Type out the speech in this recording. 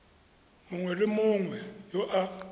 mongwe le mongwe yo a